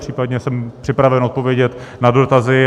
Případně jsem připraven odpovědět na dotazy.